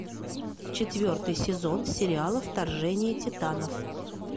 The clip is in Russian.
четвертый сезон сериала вторжение титанов